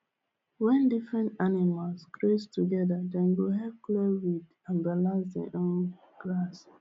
when different animals graze together dem go help clear weed and balance the um grass